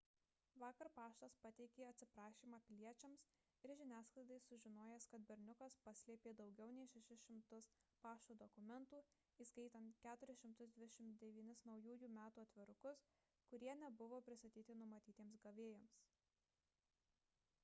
vakar paštas pateikė atsiprašymą piliečiams ir žiniasklaidai sužinojęs kad berniukas paslėpė daugiau nei 600 pašto dokumentų įskaitant 429 naujųjų metų atvirukus kurie nebuvo pristatyti numatytiems gavėjams